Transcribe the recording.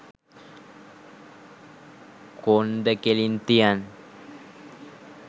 කොන්ද කෙලින් කියන්